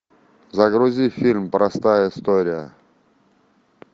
загрузи фильм простая история